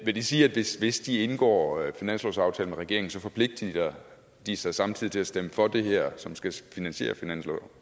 vil det sige at hvis hvis de indgår finanslovsaftalen med regeringen forpligtiger de sig samtidig til at stemme for det her som skal finansiere finansloven